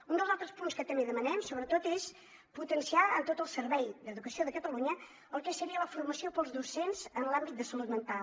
un dels altres punts que també demanem sobretot és potenciar en tot el servei d’educació de catalunya el que seria la formació per als docents en l’àmbit de salut mental